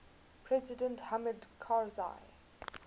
president hamid karzai